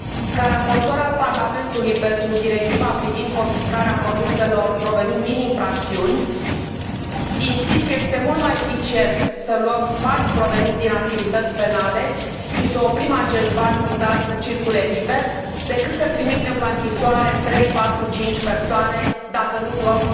Ca raportor al Parlamentului pentru Directiva privind confiscarea produselor provenind din infracțiuni, insist că este mult mai eficient să luăm banii proveniți din activități penale și să oprim acești bani murdari să circule liber, decât să trimitem la închisoare trei, patru, cinci persoane, dacă nu luăm